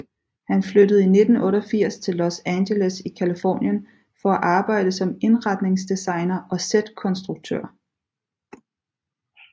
Han flyttede i 1988 til Los Angeles i Californien for at arbejde som indretningsdesigner og sætkonstruktør